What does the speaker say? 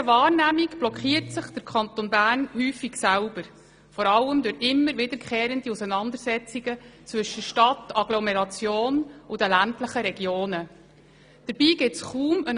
In unserer Wahrnehmung blockiert sich der Kanton Bern vor allem durch wiederkehrende Auseinandersetzungen zwischen Stadt, Agglomeration und den ländlichen Regionen häufig selber.